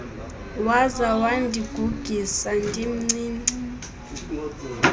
waza wandigugisa ndimncinci